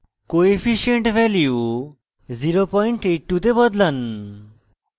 coefficient value 08 এ বদলান